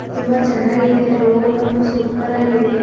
ತುಂಬಾ ಚನ್ನಾಗಿದೆ ರೋಡ್ ಬಂದು ಸೂಪರ್ ಆಗಿದೆ.